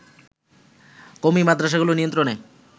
কওমী মাদ্রাসাগুলো নিয়ন্ত্রণে